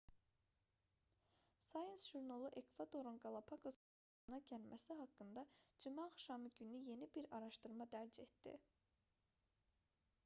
science jurnalı ekvadorun qalapaqos adalarında yeni bir quş növünün meydana gəlməsi haqqında cümə axşamı günü yeni bir araşdırma dərc etdi